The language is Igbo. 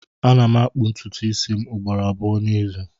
Ana m akpụ ntụtụ isi m ugboro abụọ n'izu